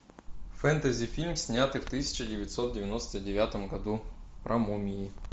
фэнтези фильм снятый в тысяча девятьсот девяносто девятом году про мумии